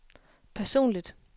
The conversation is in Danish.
personligt